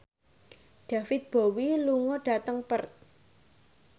David Bowie lunga dhateng Perth